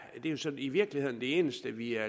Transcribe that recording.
jo sådan i virkeligheden det eneste vi er